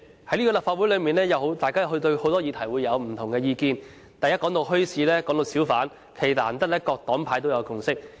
主席，在立法會內，議員對很多議題持不同意見，但談到墟市和小販，難得各黨派有共識。